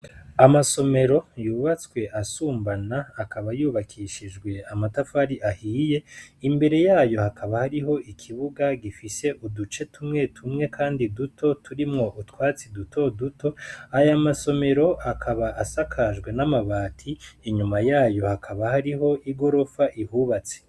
Amasomero yubatswe asumbana akaba yubakishijwe amatafari ahiye, imbere yayo hakaba hariho ikibuga gifise uduce tumwe tumwe, kandi duto turimwo utwatsi duto duto, ayo masomero akaba asakajwe n'amabati, inyuma yayo hakaba hari igorofa ihubatse.